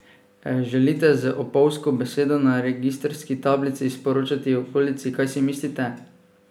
Želite z opolzko besedo na registrski tablici sporočati okolici, kaj si mislite?